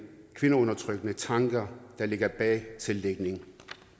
kvindeundertrykkende tanker der ligger bag tildækning